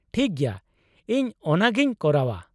-ᱴᱷᱤᱠ ᱜᱮᱭᱟ, ᱤᱧ ᱚᱱᱟᱜᱮᱧ ᱠᱚᱨᱟᱣᱼᱟ ᱾